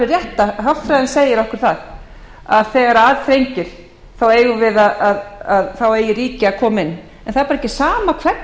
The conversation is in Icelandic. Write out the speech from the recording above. að hagfræðin segir okkur það að þegar að syrtir þá eigi ríki að koma inn en það er bara ekki sama hvernig það gerir það og